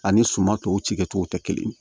Ani suma tɔw ci kɛ cogo tɛ kelen ye